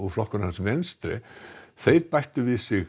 flokkur hans Venstre bætti við sig